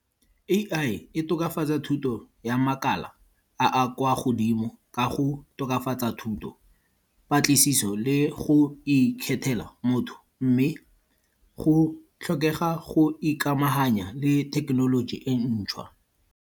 A_I, e tokafatsa thuto ya makala a a kwa godimo ka go tokafatsa thuto, patlisiso le go ikgethela motho mme go tlhokega go ikamahanya le thekenoloji e ntšhwa.